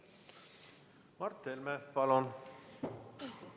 Mart Helme, palun!